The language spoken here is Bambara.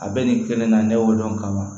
A bɛ nin kelen na ne y'o dɔn ka ban